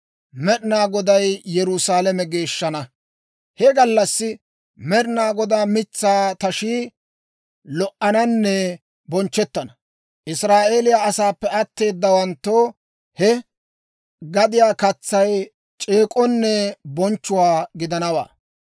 He gallassi Med'inaa Godaa mitsaa tashii lo"ananne bonchchettana; Israa'eeliyaa asaappe atteedawanttoo he gadiyaa katsay c'eek'k'onne bonchchuwaa gidanawaa.